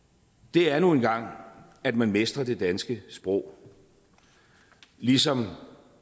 er nu engang at man mestrer det danske sprog ligesom